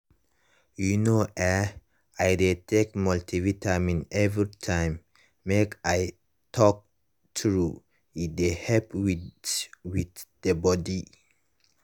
you know eh i dey take multivitamin everytime make i talk true e dey help with with dey body.